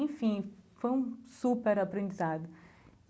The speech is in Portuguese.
Enfim, foi um super aprendizado.